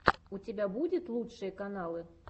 у тебя будет лучшие каналы